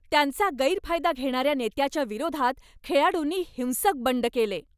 त्यांचा गैरफायदा घेणाऱ्या नेत्याच्या विरोधात खेळाडूंनी हिंसक बंड केले.